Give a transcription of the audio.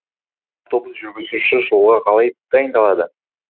автобус жүргізушісі жолға қалай дайындалады